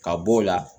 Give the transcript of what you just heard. Ka b'o la